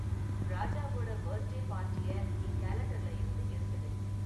ராஜாவோட பர்த்டே பார்ட்டிய என் கேலண்டர்ல இருந்து எடுத்துடு